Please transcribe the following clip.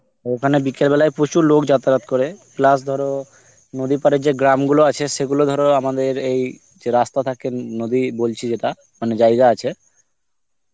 ওখানে বিকেল বেলায় প্রচুর লোক যাতায়াত করে, plus ধরো নদী পাড়ে যে গ্রামগুলো আছে সেগুলো ধরো আমাদের এই যে রাস্তা থাকে নদী বলছি যেটা মানে জায়গা আছে